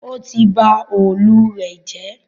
Ó ti ba òòlù rẹ̀ jẹ́